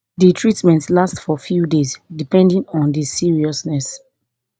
di treatment last for few days depending on di seriousness